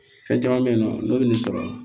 Fɛn caman bɛ yen nɔ n'o bɛ nin sɔrɔ